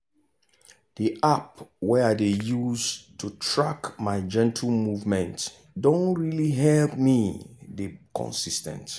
the app wey i dey use to track my gentle movement don really help me dey consis ten t.